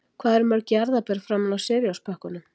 Hvað eru mörg jarðarber framan á Cheerios-pökkunum?